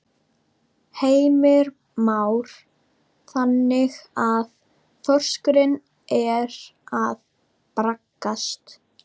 Heimir Már: Þannig að þorskurinn er að braggast?